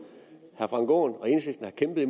vi